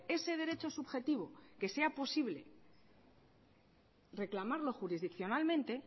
ese derecho subjetivo que sea posible reclamarlo jurisdiccionalmente